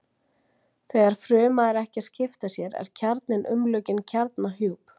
Þegar fruma er ekki að skipta sér er kjarninn umlukinn kjarnahjúp.